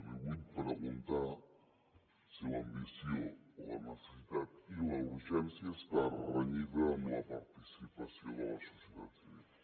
li vull preguntar si l’ambició la necessitat i la urgència està renyida amb la participació de la societat civil